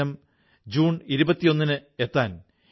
ഗംഗേ ച യമുനേ ചൈവ ഗോദാവരീ സരസ്വതീ